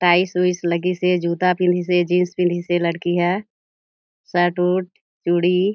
tiles उईल्स लगिस हे जूता पिनहिस हे जीन्स पिनहिस हे लड़की ह शर्ट उट चूड़ी--